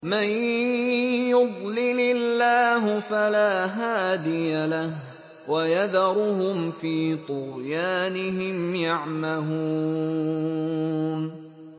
مَن يُضْلِلِ اللَّهُ فَلَا هَادِيَ لَهُ ۚ وَيَذَرُهُمْ فِي طُغْيَانِهِمْ يَعْمَهُونَ